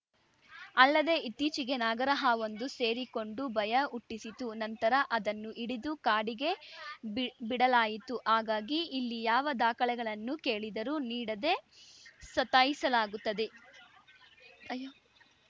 ಅಲ್ಲದೆ ಇತ್ತೀಚೆಗೆ ನಾಗರಹಾವೊಂದು ಸೇರಿಕೊಂಡು ಭಯ ಹುಟ್ಟಿಸಿತ್ತು ನಂತರ ಅದನ್ನು ಹಿಡಿದು ಕಾಡಿಗೆ ಬಿಡ್ ಬಿಡಲಾಯಿತು ಹಾಗಾಗಿ ಇಲ್ಲಿ ಯಾವ ದಾಖಲೆಗಳನ್ನು ಕೇಳಿದರೂ ನೀಡದೆ ಸತಾಯಿಸಲಾಗುತ್ತದೆ ಅಯ್ಯೋ